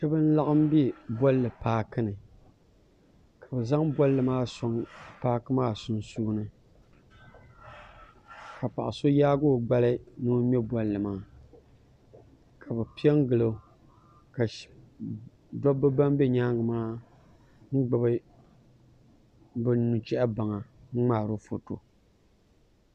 shɛba n-laɣim be bɔlli paaki ni ka bɛ zaŋ bɔlli maa n-sɔŋ paaki maa sunsuuni ka paɣa so yaagi o gbali ni o ŋme bɔlli maa ka bɛ pe n-gili o ka dabba ban nyaaŋga maa gbubi bɛ nuchɛbansi n-ŋmaari o foto